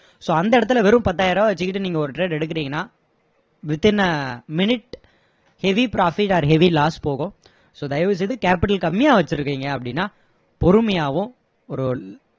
so அந்த இடத்துல வெறும் பத்தாயிரம் ரூபா வச்சிகிட்டு நீங்க ஒரு trade எடுக்குறீங்கன்னா within a minute heavy profit or heavy loss போகும் so தயவு செய்து capital கமம்மியா வச்சிருக்கீங்க அப்படின்னா பொறுமையாவும் ஒரு